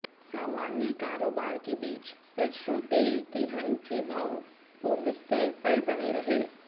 सामान्य कारोबार के बीच सरसों तेल तिलहन के भाव पूर्वस्तर पर बने रहे